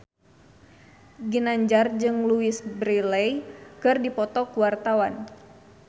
Ginanjar jeung Louise Brealey keur dipoto ku wartawan